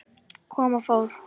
Kom og fór.